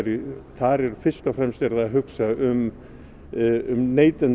þar er fyrst og fremst verið að hugsa um um